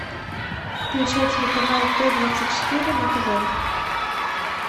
включай телеканал т двадцать четыре на тв